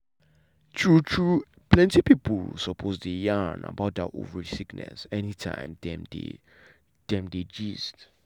true true plenty pipo suppose dey yarn about that ovary sickness anytime dem dey dem dey gist.